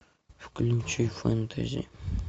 включи фэнтези